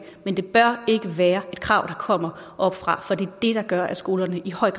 men det bør ikke være et krav der kommer oppefra for det er det der gør at skolerne i høj